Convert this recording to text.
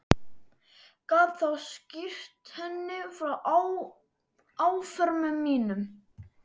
Gat þá skýrt henni frá áformum mínum.